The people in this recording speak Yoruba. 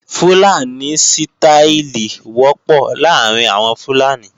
Fúlàní sítááìlì wọ́pọ̀ láàrín àwọn Fúlàní